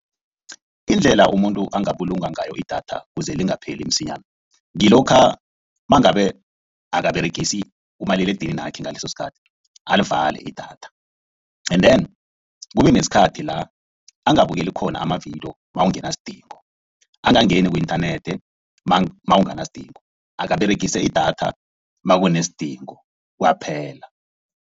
Indlela umuntu angabulunga ngayo idatha kuze lingapheli msinyana. Ngilokha mangabe akaberegisa umaliledininakhe ngaleso sikhathi alivale idatha. Endeni kube nesikhathi la angabukeli khona amavidiyo nakungenasidingo. Angangeni ku-inthanethi nakunganasidingo. Aberegise idatha nakunesidingo kwaphela.